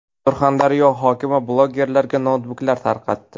Surxondaryo hokimi blogerlarga noutbuklar tarqatdi.